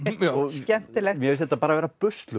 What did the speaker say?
skemmtilegt mér finnst þetta bara vera